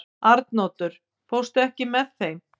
Arnoddur, ekki fórstu með þeim?